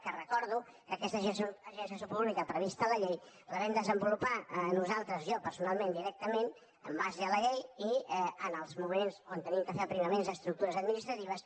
que ho recordo aquesta agència de salut pública prevista a la llei la vam desenvolupar nosaltres jo personalment directament en base a la llei i en els moments que havíem de fer aprimaments d’estructures administratives